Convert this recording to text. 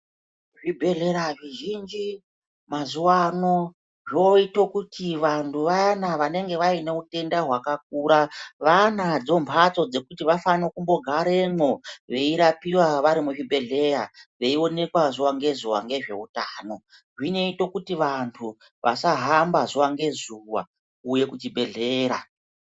Zvibhedhlera zvizhinji mazuva ano zvoite kuti vantu vayana vanonga vaine utenda hwakakura. Vanadzo mhatso dzekuti vafane kumbogaremwo veirapiva vari muzvibhedhleya veionekwa zuva ngezuva nezveutano. Zvinoite kuti vantu vasahamba zuva ngezuva kuuye kuchibhedhlera.